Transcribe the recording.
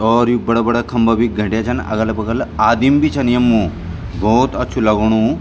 और यू बडा-बडा खंबा बि घैंट्या छन अगल बगल आदिम बि छन यम्मू भौत अच्छू लगणू।